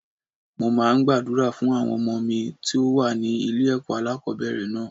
Mo máa ń gbàdúrà fún àwọn ọmọ mi tó wà ní ilé ẹ̀kọ́ alákòbẹ̀rẹ̀ náà.